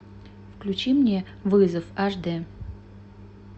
включи мне вызов аш д